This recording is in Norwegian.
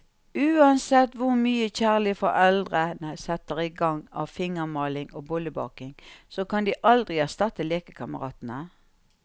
Uansett hvor mye kjærlige foreldre setter i gang av fingermaling og bollebaking, så kan de aldri erstatte lekekameratene.